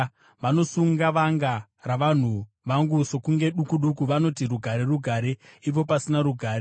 Vanosunga vanga ravanhu vangu sokunge duku duku. Vanoti, “Rugare, rugare,” ipo pasina rugare.